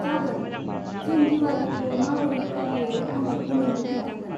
जागोन, जों दिवालीखौ माबोरै फालियो आं बेखौ नोंनो खोन्थागोन।